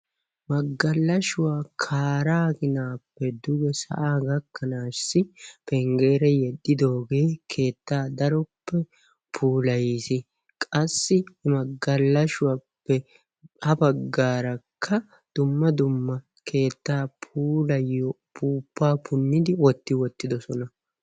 Magalashuwa kaaraa ginaappe duge sa'aa gakkanaassi pengeera yeddidoogee keettaa daroppe puulayiisi. Qassi magalashuwappe habagaarakka dumma dumma keettaa puulayiyo puuppaa punnidi wotti wottidosona.